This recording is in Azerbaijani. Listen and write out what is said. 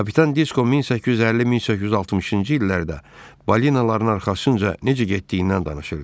Kapitan Disko 1850-1860-cı illərdə balinaların arxasınca necə getdiyindən danışırdı.